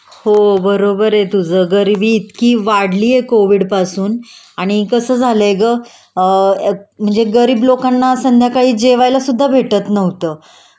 हो बरोबर आहे तुझं.गरिबी इतकी वाढलीये कोविडपासून आणि कसं झालय ग म्हणजे गरीब लोकांना संध्याकाळी जेवायला सुद्धा भेटत नव्हतं